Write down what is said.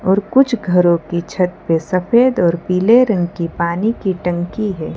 और कुछ घरों की छत पे सफेद और पीले रंग की पानी की टंकी है।